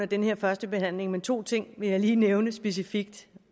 den her førstebehandling men to ting vil jeg lige nævne specifikt